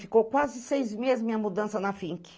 Ficou quase seis meses minha mudança na finque